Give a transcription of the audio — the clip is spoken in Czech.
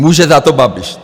Může za to Babiš.